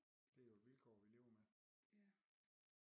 Det er jo et vilkår vi lever med